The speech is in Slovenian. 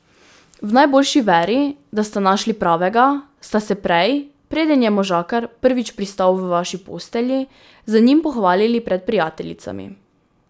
V najboljši veri, da ste našli pravega, ste se prej, preden je možakar prvič pristal v vaši postelji, z njim pohvalili pred prijateljicami.